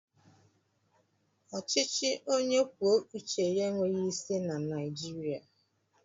Ọchịchị onye kwuo uche ya enweghị isi na Naijiriia